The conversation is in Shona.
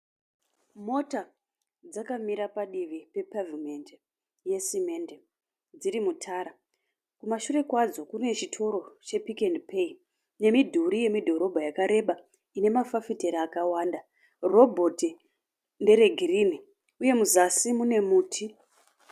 Mota dzakamira padivi pepevhimendi yesimende dziri mutara. Kumashure kwadzo kune chitoro chePick n Pay nemidhuri yemudhorobha yakareba ine mafafitera akawanda. Robhoti nderegirini uye muzasi mune muti.